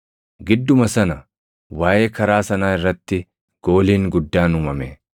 Gidduma sana waaʼee karaa sanaa irratti gooliin guddaan uumame.